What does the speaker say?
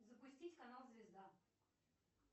запустить канал звезда